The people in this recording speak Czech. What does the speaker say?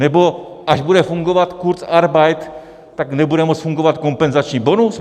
Nebo až bude fungovat kurzarbeit, tak nebude moct fungovat kompenzační bonus?